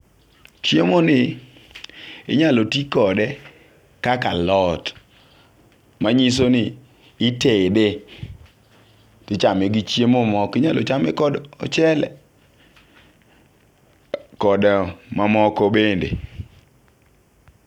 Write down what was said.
Chiemo ni inyalo tii kode kaka alot . Manyiso ni itede tichame gi chiemo moko, inyalo chame kod ochele kod mamoko bende.